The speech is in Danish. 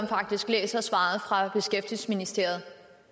faktisk læser svaret fra beskæftigelsesministeriet